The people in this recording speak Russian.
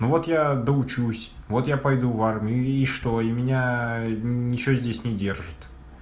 ну вот я доучусь вот я пойду в армию и и что и меня ничего здесь не держит